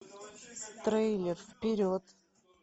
трейлер вперед